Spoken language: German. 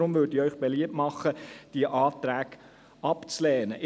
Deshalb mache ich Ihnen beliebt, diese Anträge abzulehnen.